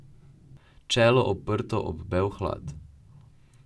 Čelo oprto ob bel hlad.